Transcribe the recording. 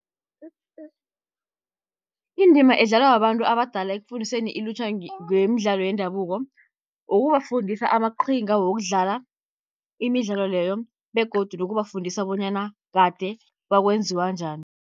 Indima edlalwa babantu abadala ekufundiseni ilutjha ngemidlalo yendabuko, ukubafundisa amaqhinga wokudlala imidlalo leyo begodu nokubafundisa bonyana kade bakwenziwa njani.